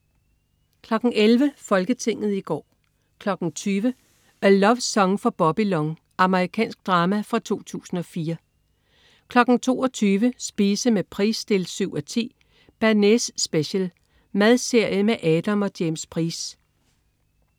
11.00 Folketinget i går 20.00 A Love Song for Bobby Long. Amerikansk drama fra 2004 22.00 Spise med Price 7:10. "Bearnaise Special". Madserie med Adam og James Price